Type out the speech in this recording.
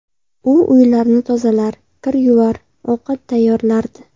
U uylarni tozalar, kir yuvar, ovqat tayyorlardi.